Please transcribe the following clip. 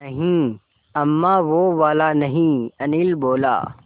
नहीं अम्मा वो वाला नहीं अनिल बोला